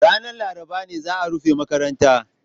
Ranar Laraba ne za a rufe makarantar